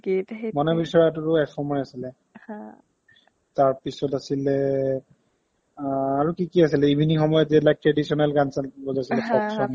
মনে বিচৰাটোৰো এসময় আছিলে হা তাৰপিছ্ত আছিলে এ অ আৰু কি কি আছিলে evening সময়ত যে এইবিলাক traditional গান চান বজাইছিলে